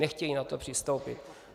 Nechtějí na to přistoupit.